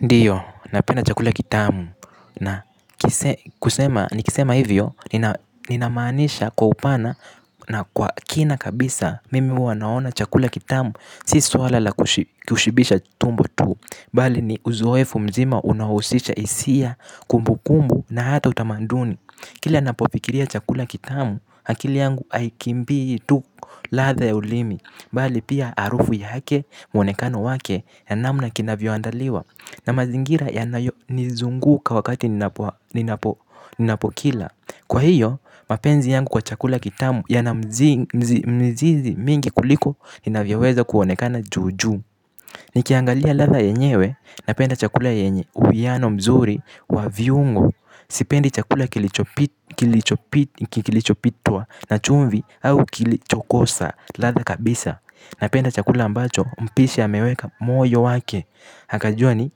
Ndiyo, napenda chakula kitamu, na kusema nikisema ivyo ninamaanisha kwa upana na kwa kina kabisa mimi huwa naona chakula kitamu si swala la kushibisha tumbo tu bali ni uzoefu mzima unaohusisha hisia kumbukumbu na hata utamaduni. Kili ninapofikiria chakula kitamu, hakili yangu aikimbi tu latha ya ulimi, bali pia arufu yake mwonekano wake nabnamna kinavyoandaliwa na mazingira yanayo nizunguka wakati ninapokila. Kwa hiyo, mapenzi yangu kwa chakula kitamu yanamzizi mingi kuliko inavyoweza kuwonekana juju. Ni kiangalia latha yenyewe npenda chakula yenye uwiano mzuri wa viungo. Sipendi chakula kilichopitua na chumvi au kilichokosa latha kabisa. Napenda chakula ambacho mpishi ameweka moyo wake. Hakajua ni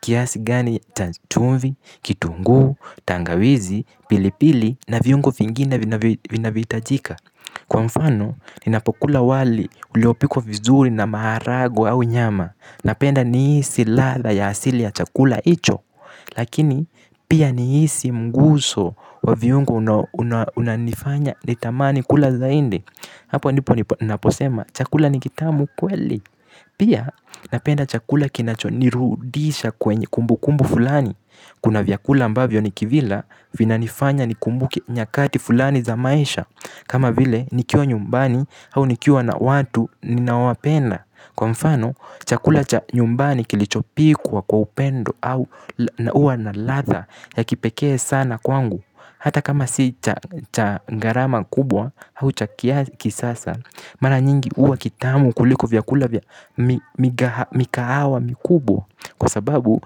kiasi gani chumvi, kitungu, tangawizi, pilipili na viungo fingine vina vitajika. Kwa mfano ninapokula wali uliopikwa vizuri na maharagwe au nyama. Napenda niisi latha ya asili ya chakula icho. Lakini pia niisi mguso wa viungo unanifanya nitamani kula zaindi. Hapo ndipo naposema chakula nikitamu kweli. Pia napenda chakula kinacho nirudisha kwenye kumbu kumbu fulani. Kuna vyakula ambavyo nikivila vina nifanya nikumbuke nyakati fulani za maisha. Kama vile nikiwa nyumbani au nikiwa na watu ninaowapenda. Kwa mfano, chakula cha nyumbani kilichopikwa kwa upendo au uwa na latha ya kipekee sana kwangu. Hata kama si cha ngarama kubwa au cha kia kisasa. Mara nyingi uwa kitamu kuliko vykula vya mikahawa mikubwa. Kwa sababu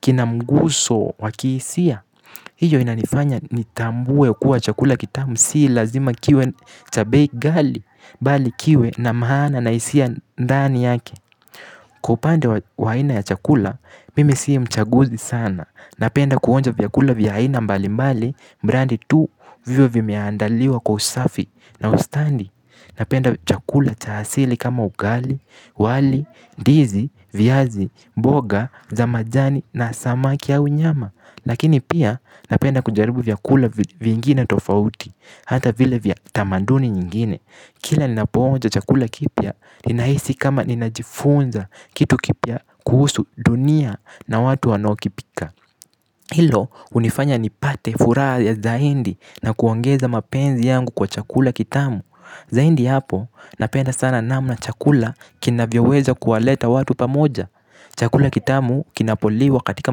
kinamguso wa kisia. Iyo inanifanya nitambue kuwa chakula kitamu. Sii lazima kiwe cha bei ghali, bali kiwe na mahana na isia ndani yake. Kwa upande wa aina ya chakula, mimi sii mchaguzi sana. Napenda kuonja vyakula vya aina mbali mbali, mrandi tu, viwe vimeandaliwa kwa usafi na ustandi. Napenda chakula cha asili kama ugali, wali, ndizi, viazi, mboga, za majani na samaki au nyama. Lakini pia napenda kujaribu vyakula vingine tofauti. Hata vile vya tamanduni nyingine. Kila ninapo onja chakula kipya. Ninaisi kama ninajifunza kitu kipya. Kuhusu dunia na watu wanaokipika. Hilo unifanya nipate fura ya zaindi. Na kuongeza mapenzi yangu kwa chakula kitamu. Zaindi hapo napenda sana namna chakula kina vyoweza kuwaleta watu pamoja. Chakula kitamu kinapoliwa katika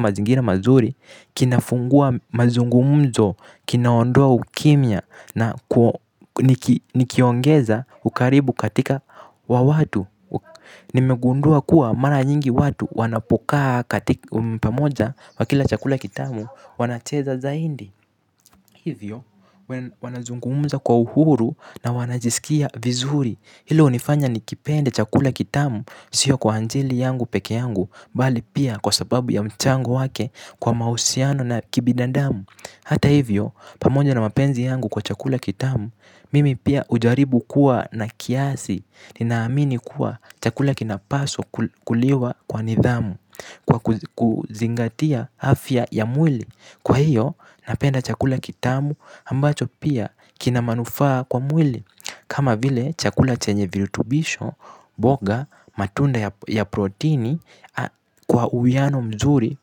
mazingira mazuri. Kinafungua mazungumzo. Kinaondoa ukimya na nikiongeza ukaribu katika wawatu. Nimegundua kuwa mara nyingi watu wanapokaa katika pamoja wakila chakula kitamu wanacheza zaindi. Hivyo wanazungumza kwa uhuru na wanajisikia vizuri. Hilo unifanya nikipende chakula kitamu sio kwa anjili yangu peke yangu. Bali pia kwa sababu ya mchango wake kwa mausiano na kibidandamu. Hata hivyo, pamoja na mapenzi yangu kwa chakula kitamu, mimi pia ujaribu kuwa na kiasi, ninaamini kuwa chakula kinapaswa kuliwa kwa nidhamu, kwa kuzingatia afya ya mwili. Kwa hiyo, napenda chakula kitamu, ambacho pia kina manufaa kwa mwili. Kama vile chakula chenye virutubisho, boga, matunda ya protini kwa uwiano mzuri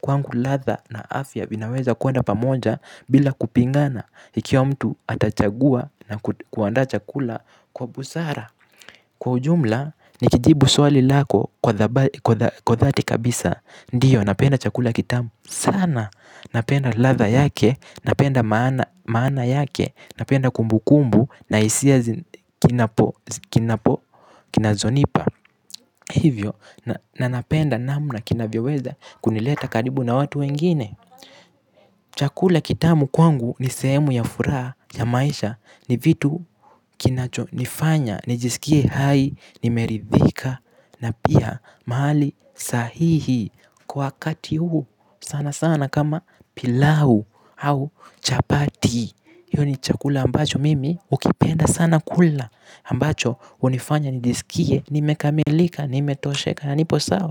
kwangu latha na afya vinaweza kuenda pamoja bila kupingana ikiwa mtu atachagua na kuandaa chakula kwa busara. Kwa ujumla, nikijibu swali lako kwa dhati kabisa. Ndiyo, napenda chakula kitamu sana, napenda latha yake, napenda maana yake. Napenda kumbu kumbu na isia kinazonipa. Hivyo, na napenda namna kinavyoweza kunileta karibu na watu wengine chakula kitamu kwangu ni sehemu ya furaha ya maisha ni vitu kinachonifanya niskie furaha nimeridhika. Na pia mahali sahihi. Kwa wakati huu sana sana kama pilau au chapati iyo ni chakula ambacho mimi ukipenda sana kula ambacho unifanya nijisikie nimekamelika nimetosheka na nipo sawa.